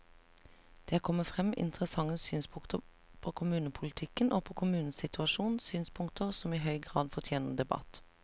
Det er kommet frem interessante synspunkter på kommunepolitikken og på kommunenes situasjon, synspunkter som i høy grad fortjener debatt.